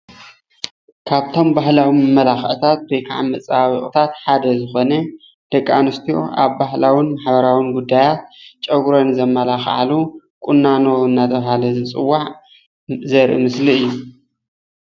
ካብቶም ባህላዊ መማላክዒታት ወይክዓ መፀባበቂታት ሓደ ዝኮነ ደቂ ኣንስትዮ ኣብ ባህላውን ማሕበራውን ጉዳያት ጨጉረን ዘባላክዓሉ ቁናኖ እናተባሃለ ዝፅዋዕ ዘርኢ ምስሊ እዩ፡፡